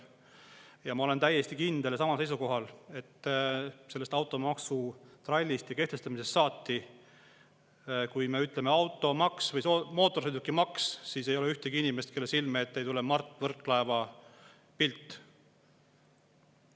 Ja ma olen täiesti kindlal seisukohal, et kui me ütleme automaks, mootorsõidukimaks, siis sellest automaksu trallist ja kehtestamisest saati ei ole ühtegi inimest, kelle silme ette ei tule Mart Võrklaeva pilt.